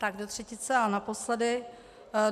Tak do třetice a naposledy.